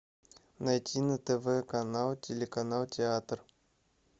найти на тв канал телеканал театр